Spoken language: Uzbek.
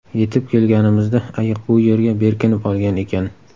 Yetib kelganimizda ayiq bu yerga berkinib olgan ekan.